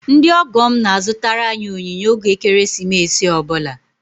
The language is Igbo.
Ndị ọgọ m na-azụtara anyị onyinye oge ekeresimesi ọ bụla